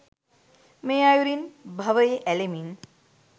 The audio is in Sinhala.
මේ අයුරින් භවයේ ඇලෙමින්